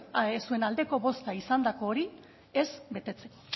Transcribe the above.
zuen aldeko bozka izandako hori ez betetzeko